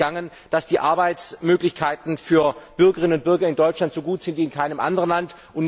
Ist Ihnen entgangen, dass die Arbeitsmöglichkeiten für Bürgerinnen und Bürger in Deutschland so gut sind wie in keinem anderen Land?